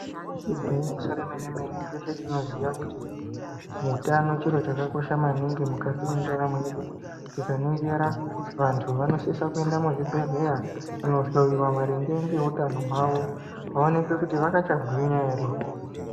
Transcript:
Igwinyiso remene-mene, teshe tinoziya kuti utano chintu chakakosha maningi mukati mwendaramo yedu, tikaningira vantu vanosisa kuenda muzvibhedhlera kundohloyiwa maringe ngeutano hwavo vooneka kuti vachakagwinya here.